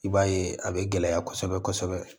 I b'a ye a bɛ gɛlɛya kosɛbɛ kosɛbɛ